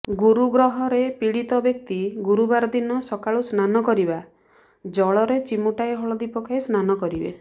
ଗୁରୁଗ୍ରହରେ ପୀଡିତ ବ୍ୟକ୍ତି ଗୁରୁବାର ଦିନ ସକାଳୁ ସ୍ନାନ କରିବା ଜଳରେ ଚିମୁଟାଏ ହଳଦୀ ପକାଇ ସ୍ନାନ କରିବେ